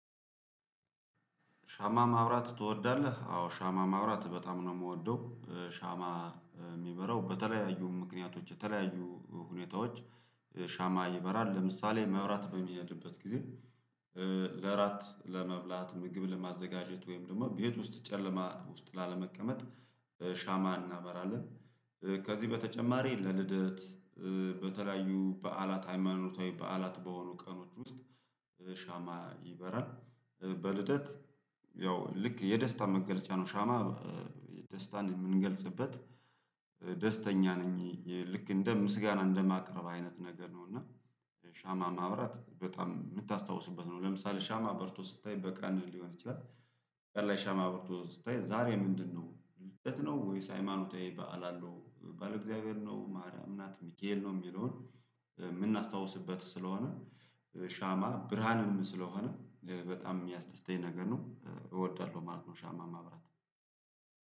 ሻማ ማብራት ትወዳለህ? አዎ ሻማ ማብራት በጣም ነው የምወደው። ሻማ የሚበራው በተለያዩ ምክንያቶች የተለያዩ ሁኔታዎች ሻማ ይበራል ለምሳሌ መብራት በሚሄድበት ጊዜ ለእራት ለመብላት ምግብ ለማዘጋጀት ወይም ደግሞ ቤት ውስጥ ጨለማ ውስጥ ላለመቀመጥ ሻማ እናበራለን ከዚህ በተጨማሪ ለልደት በተለያዩ በዓላት ሃይማኖታዊ በዓላት በሆኑ ቀኖች ውስጥ ሻማ ይበራል በልደት ያው ልክ የደስታ መገለጫ ነው ሻማ የደስታን የምንገልጽበት ደስተኛ ነኝ ልክ እንደ ምስጋና እንደማቅረብ አይነት ነገር ነው እና ሻማ ማብራት በጣም የምታስታውስበት ነው ለምሳሌ ሻማ በርቶ ስታይ በቀን ሊሆን ይችላል ቀን ላይ ሻማ በርቶ ስታይ ዛሬ ምንድነው ልደት ነው ወይስ ሃይማኖቴ በዓል አለው ባለእግዚአብሔር ነው ማርያም ናት ሚካኤል ነው የሚለውን የምናስታውስበት ስለሆነ ሻማ ብርሃንም ስለሆነ በጣም የሚያስደስተኝ ነገር ነው። እወዳለሁ ማለት ነው ሻማ ማብራት።